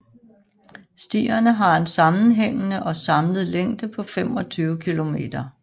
Stierne har en sammenhængende og samlet længde på 25 kilometer